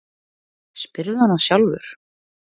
Spyrðu hana sjálfur.